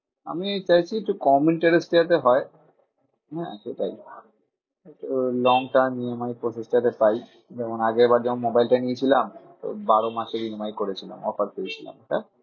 আমি চাইছি একটু কম interest এ যাতে হয়। হ্যাঁ সেটাই ওই long term EMI processing এ পাই। যেমন আগের বার যখন মোবাইল টা নিয়েছিলাম তো বারো মাসে EMI করেছিলাম। offer পেয়েছিলাম একটা।